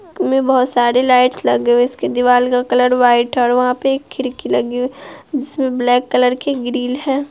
इसमें बहुत सारी लाइट लगी हुई है| इसके दीवाल का कलर व्हाइट है और वहाँ पे एक खिड़की लगे हुए हैं जिसमें ब्लैक कलर की ग्रिल है।